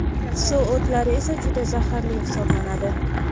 Suv o‘tlari esa juda zaharli hisoblanadi.